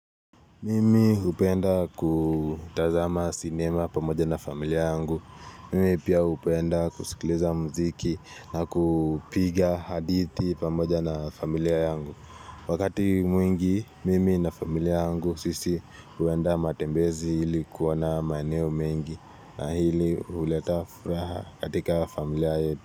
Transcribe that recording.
Mimi hupenda kutazama sinema pamoja na familia yangu. Mimi pia hupenda kusikiliza muziki na kupiga hadithi pamoja na familia yangu. Wakati mwingi, mimi na familia yangu sisi huwenda matembezi ili kuona maeneo mengi na hili huleta furaha katika familia yetu.